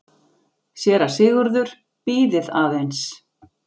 SÉRA SIGURÐUR: Bíðið aðeins!